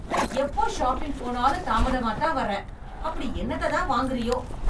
எப்போ ஷாப்பிங் போனாலும் தாமதமாதான் வர, அப்படி என்னத்த தான் வாங்குரியோ?